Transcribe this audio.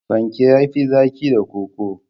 Fanke ya fi zaki da koko.